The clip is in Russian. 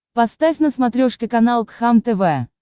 поставь на смотрешке канал кхлм тв